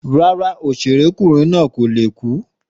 Rárá òṣèré kunrin na ko le ku.